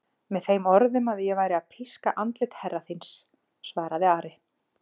Með þeim orðum að ég væri að píska andlit herra þíns, svaraði Ari.